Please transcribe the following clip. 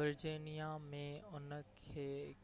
Virginia ۾ in